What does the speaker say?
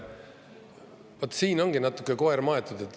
Vaat siin ongi natuke koer maetud.